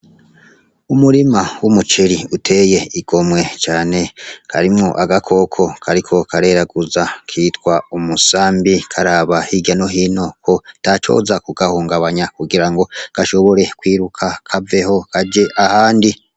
Umurima w’umuceri uteye igomwe cane, harimwo agakoko kariko kareraguza kitwa umusambi karaba hirya no hino ko atacoza kugahungabanya, kugira ngo gashobore kwiruka kaveho kaje ahandi.